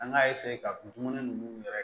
An k'a ka dumuni ninnu yɛrɛ